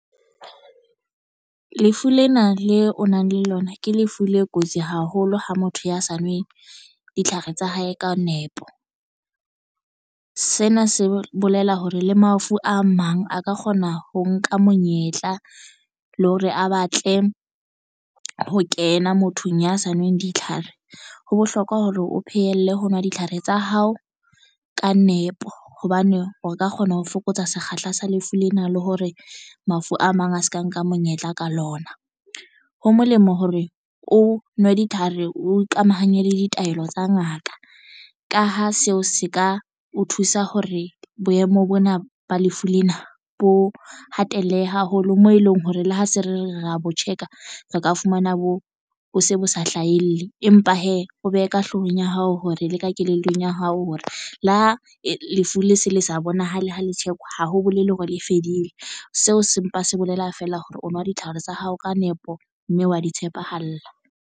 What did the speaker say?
Lefu lena le o nang le lona ke lefu le kotsi haholo ho motho ya sa nweng ditlhare tsa hae ka nepo. Sena se bolela hore le mafu a mang a ka kgona ho nka monyetla le hore a batle ho kena mothong ya sa nweng ditlhare. Ho bohlokwa hore o phehelle ho nwa ditlhare tsa hao ka nepo hobane o ka kgona ho fokotsa sekgahla sa lefu lena le hore mafu a mang a se ka nka monyetla ka lona. Ho molemo hore o nwe ditlhare o ikamahanye le ditaelo tsa ngaka. Ka ha seo se ka o thusa hore boemo bona ba lefu lena bo hatellehe haholo moo eleng hore le ha se re ra bo check-a re ka fumana bo o se bo sa hlahelle, empa hee o behe ka hloohong ya hao hore le ka kelellong ya hao hore le ha lefu le se le sa bonahale ha le check-wa ha ho bolele hore le e fedile. Seo se mpa se bolela feela hore o nwa ditlhare tsa hao ka nepo mme wa di tshepahala.